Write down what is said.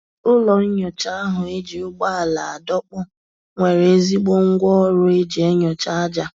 Ụlọ nyocha ahu eji ụgbọala adọkpu nwere ezigbo ngwa ọrụ eji enyocha aja